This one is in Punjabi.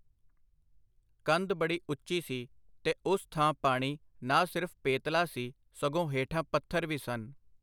ਕੰਧ ਬੜੀ ਉੱਚੀ ਸੀ ਤੇ ਉਸ ਥਾਂ ਪਾਣੀ ਨਾ ਸਿਰਫ ਪੇਤਲਾ ਸੀ, ਸਗੋਂ ਹੇਠਾਂ ਪੱਥਰ ਵੀ ਸਨ.